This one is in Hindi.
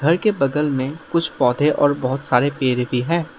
घर के बगल में कुछ पौधे और बहुत सारे पेड़ भी हैं।